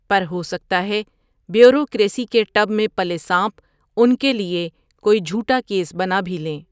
پر ھو سکتا ھے بیوروکریسی کے ٹب میں پلے سانپ انکے لٸے کوٸی جھوٹا کیس بنا بھی لیں۔